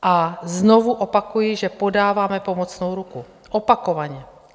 A znovu opakuji, že podáváme pomocnou ruku, opakovaně.